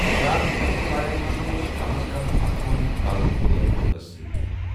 ہلاک گژھَن والٮ۪ن منٛز اوس کم از کم اکوُہَن ہُنٛد تعلُق غٲر مُلکَس سۭتۍ۔